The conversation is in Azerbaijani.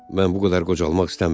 Mən bu qədər qocalmaq istəmirəm.